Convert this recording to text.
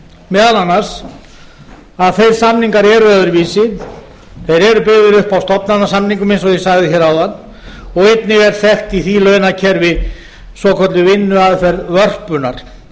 meðal annars að þeir samningar eru öðruvísi þeir eru byggðir upp á stofnanasamningum eins og ég sagði hér áðan og einni g er þekkt í því launakerfi svokölluð vinnuaðferð vörpunnar